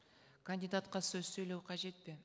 кандидатқа сөз сөйлеу қажет пе